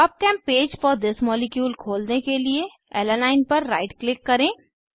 PubChem page for this molecule खोलने के लिए अलानाइन ऐलानाइन पर राइट क्लिक करें